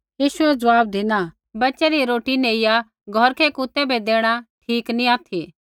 यीशुऐ ज़वाब धिना बच्च़ै री रोटी नेइया घौरकै कुतै बै देणा ठीक नी ऑथि